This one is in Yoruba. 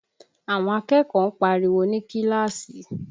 Àwọn akẹ́kọ̀ọ́ ń pariwo ní kíláàsì